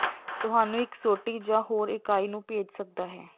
ਤੁਹਾਨੂੰ ਇੱਕ ਸੋਟੀ ਜ ਹੋਰ ਇਕਾਈ ਨੂੰ ਭੇਜ ਸਕਦਾ ਹੈ